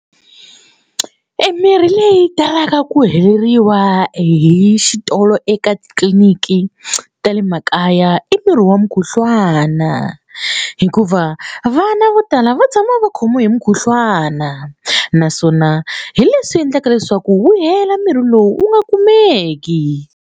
Emirhi leyi talaka ku heleriwa hi xitolo eka tliliniki ta le makaya i murhi wa mukhuhlwana hikuva vana vo tala va tshama va khomiwe hi mukhuhlwana naswona hi leswi endlaka leswaku wu hela mirhi lowu wu nga kumeki.